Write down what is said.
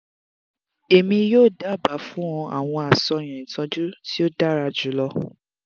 emi yoo daba fun ọ awọn aṣayan itọju ti o dara julọ